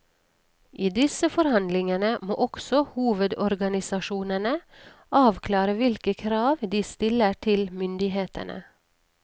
I disse forhandlingene må også hovedorganisasjonene avklare hvilke krav de stiller til myndighetene.